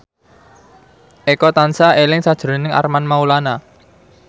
Eko tansah eling sakjroning Armand Maulana